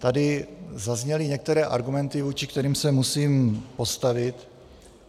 Tady zazněly některé argumenty, vůči kterým se musím postavit.